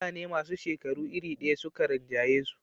mutane masu shekaru iri daya suka rinjayisu